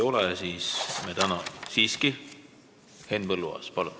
Henn Põlluaas, palun!